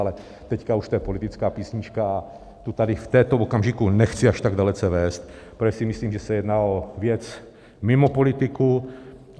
Ale teď už to je politická písnička a tu tady v tomto okamžiku nechci až tak dalece vést, protože si myslím, že se jedná o věc mimo politiku.